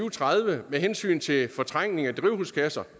og tredive med hensyn til fortrængning af drivhusgasser